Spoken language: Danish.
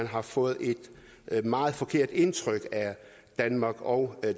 har fået et meget forkert indtryk af danmark og